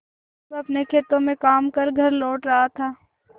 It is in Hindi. वह अपने खेतों में काम कर घर लौट रहा था